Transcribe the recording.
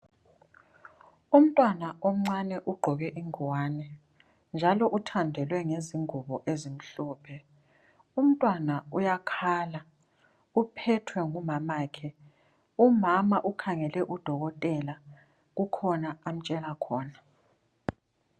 Umntwana omncane ugqoke ingwane, njalo uthandelwe ngezingubo ezimhlophe. Umntwana uyakhala uphethwe ngumamakhe, umama ukhangele udokotela kukhona amtshela khona.